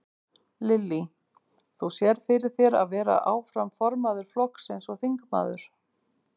Lillý: Þú sérð fyrir þér að vera áfram formaður flokksins og þingmaður?